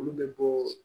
Olu bɛ bɔɔ